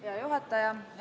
Hea juhataja!